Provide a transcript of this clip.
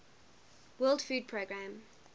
world food programme